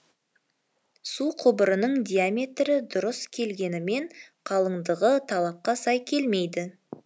су құбырының диаметрі дұрыс келгенімен қалыңдығы талапқа сай келмейді